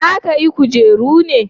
za ka yi kujeru ne?